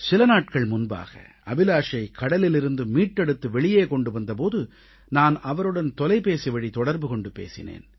சில நாட்கள் முன்பாக அபிலாஷை கடலிலிருந்து மீட்டெடுத்து வெளியே கொண்டு வந்த போது நான் அவருடன் தொலைபேசி வழி தொடர்பு கொண்டு பேசினேன்